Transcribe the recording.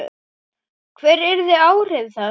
Hver yrðu áhrif þess?